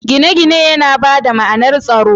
Gine-gine yana ba da ma’anar tsaro.